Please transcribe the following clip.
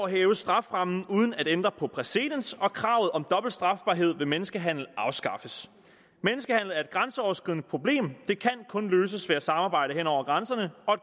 hæves strafferammen uden at ændre på præcedens og kravet om dobbelt strafbarhed ved menneskehandel afskaffes menneskehandel er et grænseoverskridende problem det kan kun løses ved at samarbejde hen over grænserne og